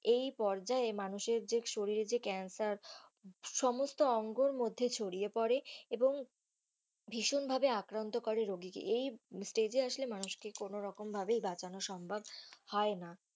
এই পর্যায়ে মানুষের যে শরীরের যে ক্যান্সার সমস্ত অঙ্গর মধ্যে ছড়িয়ে পরে এবং ভীষণ ভাবে আক্রান্ত করে রোগীকে এই stage এ আসলে মানুষকে কোনো ভাবেই বাঁচানো সম্ভব হয় না.